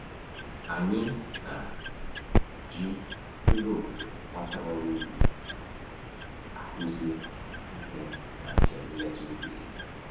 Anyị na-eji ilulu obodo gbasara ọrụ ubi akụzi ihe na njem nleta ubi